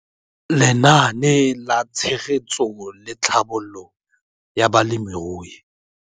Lenaane la Tshegetso le Tlhabololo ya Balemirui